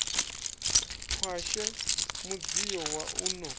khwashe mudzio wa u no